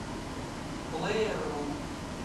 плеер ру